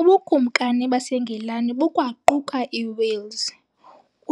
Ubukumkani baseNgilani bukwaquka iWales,